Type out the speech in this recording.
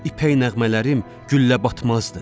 İpək nəğmələrim güllə batmazdı.